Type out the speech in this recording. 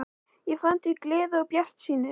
Ég fann til gleði og bjartsýni.